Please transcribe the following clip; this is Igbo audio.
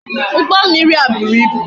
Ugbo mmiri a buru ibu